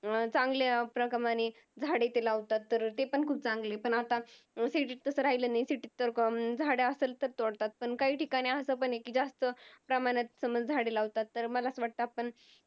चांगल्या प्रमाणे झाडे ते लावतात ते पण खुप चांगले पण आता City तसं राहिलेल नाही City तर आता झाड असेल तर तोडतात पण काही ठिकाणी अस पण आहे जास्त प्रमाणात समज झाडे लावतात तर मला असा वाटतं आपण